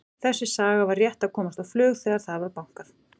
Þessi saga var rétt að komast á flug þegar það var bankað.